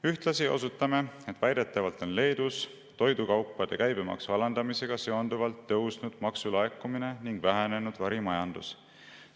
Ühtlasi osutame, et väidetavalt on Leedus toidukaupade käibemaksu alandamisega seonduvalt tõusnud maksulaekumine ning vähenenud varimajandus.